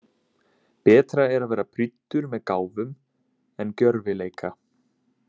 Betra er að vera prýddur með gáfum en gjörvileika.